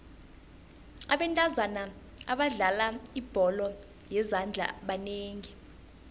abentazana abadlala ibholo yezandla banengi